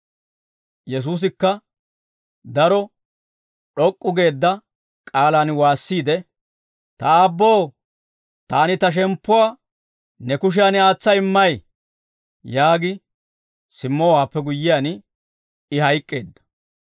Yesuusikka daro d'ok'k'u geedda k'aalaan waassiide, «Ta Aabboo, taani ta shemppuwaa ne kushiyaan aatsa immay!» yaagi simmowaappe guyyiyaan I hayk'k'eedda.